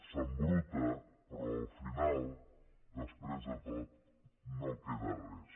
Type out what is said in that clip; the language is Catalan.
s’embruta però al final després de tot no queda res